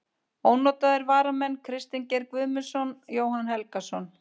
Ónotaðir varamenn: Kristinn Geir Guðmundsson, Jóhann Helgason.